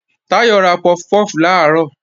Táyọ̀ ra puff puff làárọ̀